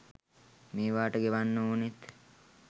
මේවට ගෙවන්න ඕනෙත්